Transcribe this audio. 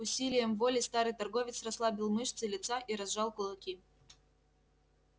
усилием воли старый торговец расслабил мышцы лица и разжал кулаки